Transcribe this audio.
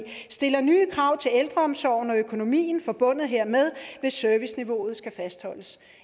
stiller nye krav til ældreomsorgen og økonomien forbundet hermed hvis serviceniveauet skal fastholdes